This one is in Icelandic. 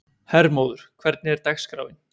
Hermóður, hvernig er dagskráin?